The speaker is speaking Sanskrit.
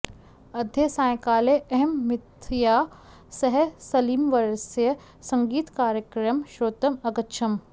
अद्य सायंकाले अहं मीतया सह सलीमवर्यस्य सङ्गीतकार्यक्रमं श्रोतुम् अगच्छम्